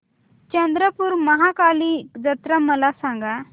चंद्रपूर महाकाली जत्रा मला सांग